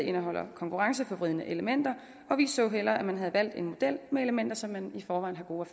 indeholder konkurrenceforvridende elementer vi så hellere at man havde valgt en model med elementer som man i forvejen har gode